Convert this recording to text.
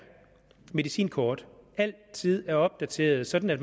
medicinkort altid er opdateret sådan at